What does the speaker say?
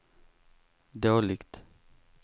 dåligt